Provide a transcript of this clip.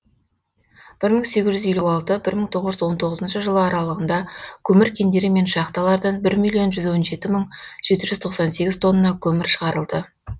мың сегіз жүз елу алты мың тоғыз жүз он тоғызыншы жылы аралығында көмір кендері мен шахталардан бір миллион жүз он жеті мың жеті жүз тоқсан сегіз тонна көмір шығарылды